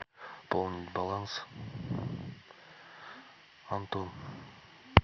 пополнить баланс антон